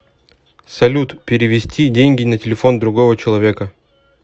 салют перевести деньги на телефон другого человека